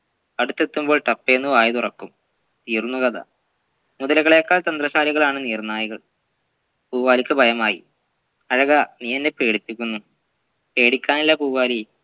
അടുത്തെത്തുമ്പോൾ ഠപ്പേന്ന് വായ് തുറക്കും തീർന്നു കഥ മുതലകളെക്കാൾ തന്ത്രശാലികളാണ് നീർനായകൾ പൂവാലിക്ക് ഭയമായി അഴകാ നീ എന്നെ പേടിപ്പിക്കുന്നു പേടിക്കാനില്ല പൂവാലി